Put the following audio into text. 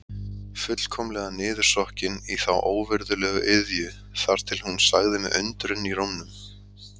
Fullkomlega niðursokkin í þá óvirðulegu iðju þar til hún sagði með undrun í rómnum